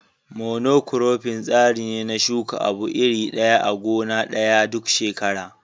Mono kurofin tsari ne na shuka abu iri ɗaya a gona ɗaya duk shekara.